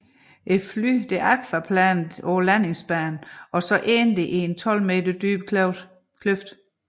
Flyet aquaplanede af landingsbanen og endte i en 12 meter dyb kløft